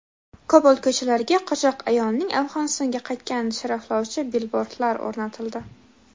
Kobul ko‘chalariga qochoq ayolning Afg‘onistonga qaytganini sharaflovchi bilbordlar o‘rnatildi.